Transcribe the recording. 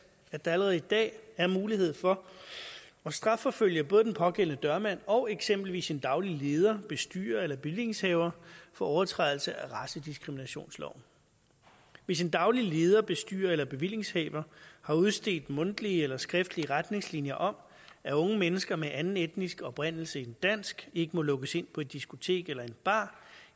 at der allerede i dag er mulighed for at strafforfølge både den pågældende dørmand og eksempelvis en daglig leder bestyrer eller bevillingshaver for overtrædelse af racediskriminationsloven hvis en daglig leder bestyrer eller bevillingshaver har udstedt mundtlige eller skriftlige retningslinjer om at unge mennesker med anden etnisk oprindelse end dansk ikke må lukkes ind på et diskotek eller en bar